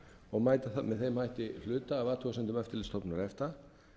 og mæta með þeim hætti hluta af athugasemdum eftirlitsstofnunar efta